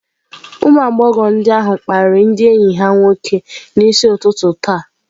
Ụmụ agbọghọ ndị ahụ kparịrị ndị enyi ha nwoke n'isi ụtụtụ taa.